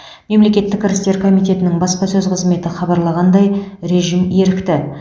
мемлекеттік кірістер комитетінің баспасөз қызметі хабарлағандай режим ерікті